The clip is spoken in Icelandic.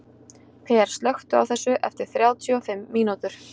Per, slökktu á þessu eftir þrjátíu og fimm mínútur.